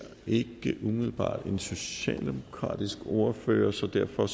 ikke umiddelbart en socialdemokratisk ordfører så derfor